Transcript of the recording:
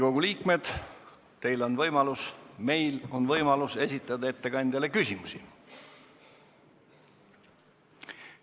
Auväärt Riigikogu liikmed, meil on võimalus esitada ettekandjale küsimusi.